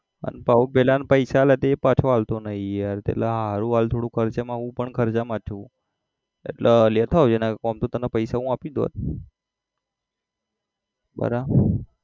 અને પાછા પેલાને પૈસા આલ્યા હતા એ પાછા આલતો નઈ યાર પેલા હાહરું હાલ થોડો ખર્ચા હું પણ ખર્ચા માં છું એટલે લેતો આવજે નઈ તો આમ તો પૈસા હું આપી દોત બરોબર